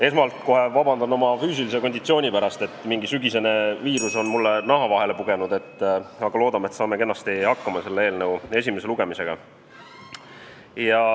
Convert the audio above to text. Esmalt palun vabandust oma füüsilise konditsiooni pärast – mingi sügisene viirus on mulle naha vahele pugenud, aga loodame, et saame kenasti hakkama selle eelnõu esimese lugemisega.